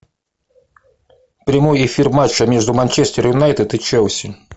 прямой эфир матча между манчестер юнайтед и челси